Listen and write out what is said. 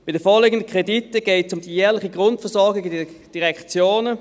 Bei den vorliegenden Krediten geht es um die jährliche Grundversorgung in den Direktionen.